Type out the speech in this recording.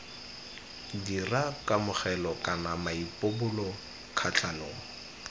dira kamogelo kana maipobolo kgatlhanong